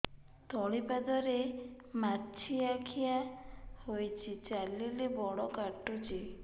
ତଳିପାଦରେ ମାଛିଆ ଖିଆ ହେଇଚି ଚାଲିଲେ ବଡ଼ କାଟୁଚି